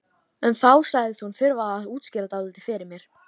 En þá sagðist hún þurfa að útskýra dálítið fyrir mér.